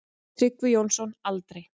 Tryggvi Jónsson: Aldrei.